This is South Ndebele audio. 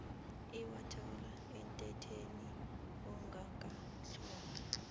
iwathola emthethweni ongakatlolwa